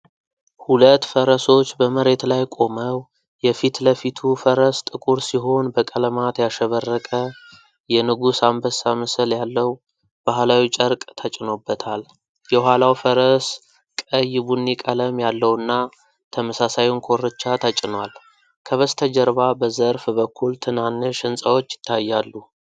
ሁለት ፈረሶች በመሬት ላይ ቆመው ። የፊት ለፊቱ ፈረስ ጥቁር ሲሆን በቀለማት ያሸበረቀ፣ የንጉሥ አንበሳ ምስል ያለው ባህላዊ ጨርቅ ተጭኖበታል። የኋላው ፈረስ ቀይ ቡኒ ቀለም ያለውና ተመሳሳዩን ኮርቻ ተጭኗል። ከበስተጀርባ በዘርፍ በኩል ትናንሽ ሕንፃዎች ይታያሉ።